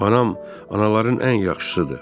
Anam, anaların ən yaxşısıdır.